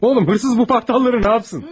Oğlum, oğru bu paltarları nə etsin?